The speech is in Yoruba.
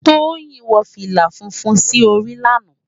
Toyin wò filá fúnfún si óri làná